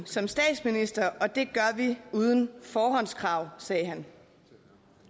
som statsminister og det gør vi uden forhåndskrav sagde han